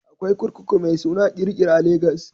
Akwai kurkuku mai suna Kirikiri a Legas